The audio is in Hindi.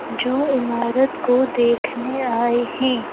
जो इमारत को देखने आए हैं।